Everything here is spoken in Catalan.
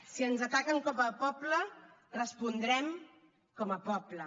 si ens ataquen com a poble respondrem com a poble